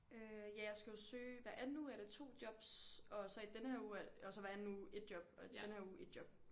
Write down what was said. Øh ja jeg skal jo søge hver anden uge er det 2 jobs og så i denne her uge er det og så hver anden uge 1 job og den her uge 1 job